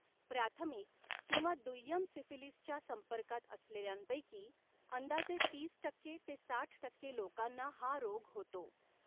प्राथमिक किंवा दुय्यम सिफिलीसच्या संपर्कात असलेल्यांपैकी अंदाजे तीस टक्के ते साठ टक्के लोकांना हा रोग होतो.